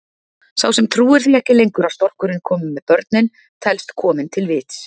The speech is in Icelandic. Sá sem trúir því ekki lengur að storkurinn komi með börnin telst kominn til vits.